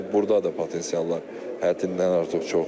Burda da potensiallar həddindən artıq çoxdur.